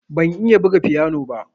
Ban iya buga fiyano ba.